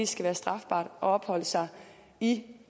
skal være strafbart at opholde sig i